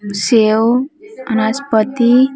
सेब अ नासपती --